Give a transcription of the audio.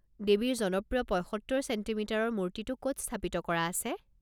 দেৱীৰ জনপ্ৰিয় ৭৫ চেণ্টিমিটাৰৰ মূৰ্তিটো ক'ত স্থাপিত কৰা আছে?